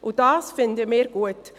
Und das finden wir gut.